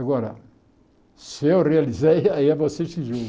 Agora, se eu realizei, aí é vocês que julgam.